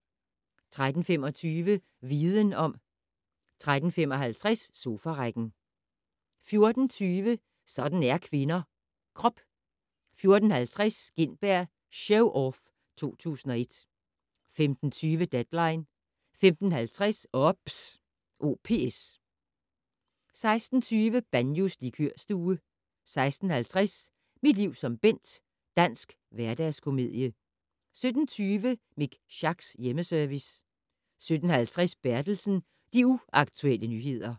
13:25: Viden om 13:55: Sofarækken 14:20: Sådan er kvinder - krop 14:50: Gintberg Show Off 2001 15:20: Deadline 15:50: OPS 16:20: Banjos Likørstue 16:50: Mit liv som Bent - dansk hverdagskomedie 17:20: Mik Schacks Hjemmeservice 17:50: Bertelsen - De Uaktuelle Nyheder